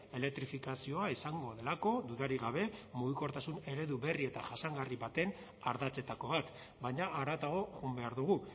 elektrifikazioa izango delako dudarik gabe mugikortasun eredu berri eta jasangarri baten ardatzetako bat baina haratago joan behar dugu